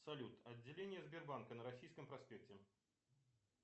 салют отделение сбербанка на российском проспекте